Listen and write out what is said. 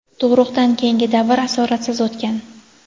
Tug‘ruqdan keyingi davr asoratsiz o‘tgan.